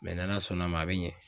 n'Ala sɔnn'a ma a bɛ ɲɛ.